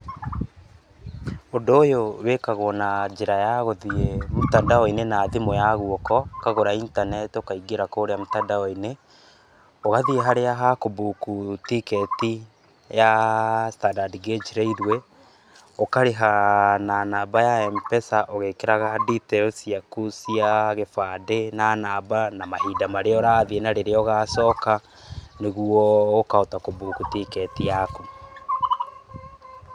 Ũndũ ũyũ wĩkagwo na njĩra ya gũthiĩ mtandao inĩ na thimũ ya ũkagũta intaneti ũkaingĩra kũrĩa mtandao inĩ, ũgathiĩ harĩa ha kũ book ticket ya standard gauge railway ũkarĩha na namba ya Mpesa ũgĩkĩraga details cia gĩbandĩ na namba na mahinda marĩa ũrathiĩ na rĩrĩa ũgacoka nĩguo ũkahota kũ book ticket yaku